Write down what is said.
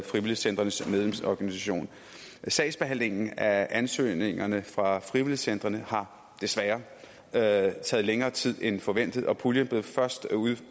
frivilligcentrenes medlemsorganisation sagsbehandlingen af ansøgningerne fra frivilligcentrene har desværre taget længere tid end forventet og puljen blev først